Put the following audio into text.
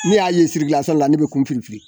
Ni ne y'a ye Bamakɔ ne bɛ n kun firi firi.